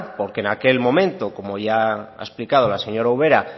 porque en aquel momento como ya ha explicado la señora ubera